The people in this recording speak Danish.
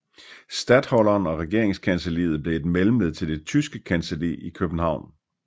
Statholderen og regeringskancelliet blev et mellemled til det Tyske kancelli i København